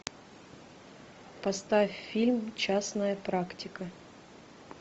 поставь фильм частная практика